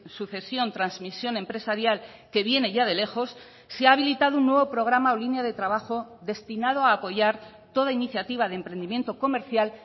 sucesión transmisión empresarial que viene ya de lejos se ha habilitado un nuevo programa o línea de trabajo destinado a apoyar toda iniciativa de emprendimiento comercial